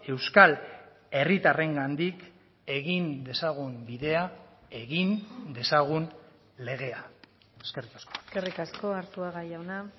euskal herritarrengandik egin dezagun bidea egin dezagun legea eskerrik asko eskerrik asko arzuaga jauna